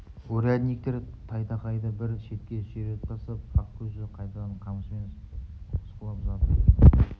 урядниктер тайтақайды бір шетке сүйретіп тастап ақкөзді қайтадан қамшымен осқылап жатыр екен